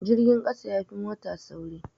Jirgin ƙasa yafi mota sauri